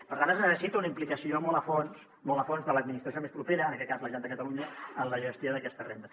per tant es necessita una implicació molt a fons molt a fons de l’administració més propera en aquest cas la generalitat de catalunya en la gestió d’aquesta renda